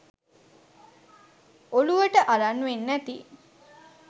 ඔලුවට අරන් වෙන්නැති